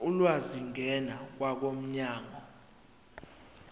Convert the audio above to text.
ulwazi ngena kwabomnyango